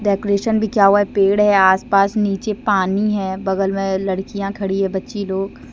Decoration भी किया हुआ है पेड़ है आसपास नीचे पानी है बगल में लड़कियां खड़ी है बच्ची लोग।